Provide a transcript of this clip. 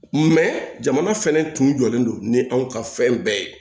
jamana fɛnɛ tun jɔlen don ni anw ka fɛn bɛɛ ye